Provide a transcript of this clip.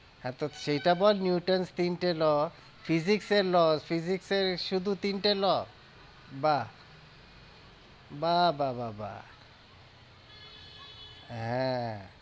হ্যাঁ, তো সেইটা বল newtons তিনটে law physics এর law physics এর শুধু তিনটে law বা বা বা বা বা হ্যাঁ